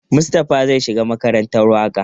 Mustapha zai shiga makarantar waƙa.